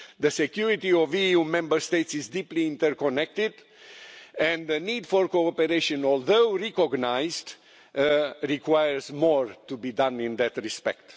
The security of EU Member States is deeply interconnected, and the need for cooperation although recognised requires more to be done in that the respect.